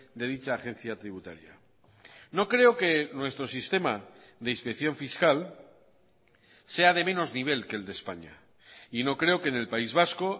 de dicha agencia tributaria no creo que nuestro sistema de inspección fiscal sea de menos nivel que el de españa y no creo que en el país vasco